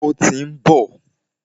Ó tí ń bọ̀.